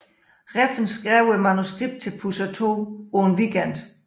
Refn skrev manuskriptet til Pusher II på en weekend